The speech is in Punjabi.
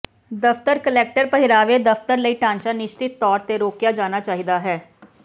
ਦਫ਼ਤਰ ਕਲੈਟਰ ਪਹਿਰਾਵੇ ਦਫਤਰ ਲਈ ਢਾਂਚਾ ਨਿਸ਼ਚਤ ਤੌਰ ਤੇ ਰੋਕਿਆ ਜਾਣਾ ਚਾਹੀਦਾ ਹੈ